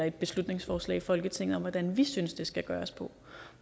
et beslutningsforslag i folketinget om hvordan vi synes det skal gøres og